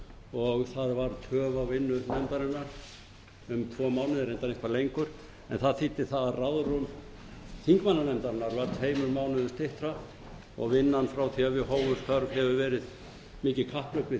og það varð töf á vinnu nefndarinnar um tvo mánuði reyndar eitthvað lengur en það þýddi að ráðrúm þingmannanefndarinnar varð tveimur mánuðum styttra og vinnan frá því að við hófum störf hefur verið mikið kapphlaup við